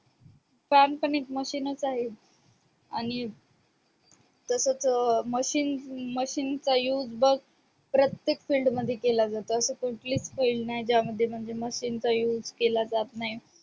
fan पण एक machine आहे आणि तसंच अं machinemachine चा used बग प्रत्येक field मध्ये केला जातो अशी कुठलीच field नाय ज्या मध्ये म्हणजे machine used केला जात नाही